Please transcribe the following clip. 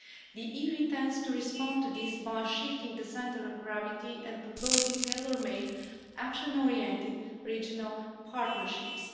The EU intends to respond to this by shifting the centre of gravity and proposing tailor made, action orientated regional partnerships.